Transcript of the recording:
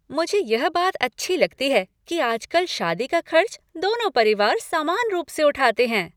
मुझे यह बात है अच्छी लगती है कि आजकल शादी का खर्च दोनों परिवार समान रूप से उठाते हैं।